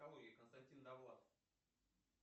константин довлатов